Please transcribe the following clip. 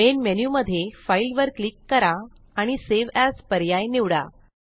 main menu मध्ये Fileवर click करा आणि सावे एएस पर्याय निवडा